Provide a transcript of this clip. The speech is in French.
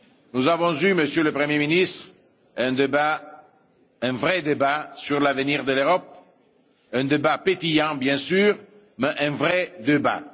Nous avons eu, Monsieur le Premier ministre, un débat, un vrai débat sur l'avenir de l'Europe, un débat animé bien sûr, mais un vrai débat.